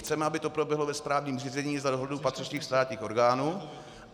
Chceme, aby to proběhlo ve správním řízení za dozoru patřičných státních orgánů.